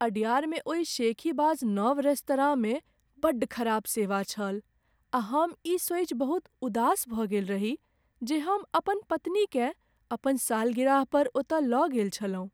अडयारमे ओही शेखीबाज नव रेस्तराँमे बड्ड खराब सेवा छल आ हम ई सोचि बहुत उदास भऽ गेल रही जे हम अपन पत्नीकेँ अपन सालगिरह पर ओतय लऽ गेल छलहुँ।